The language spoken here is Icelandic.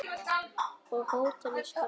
Og hótelið skal byggt.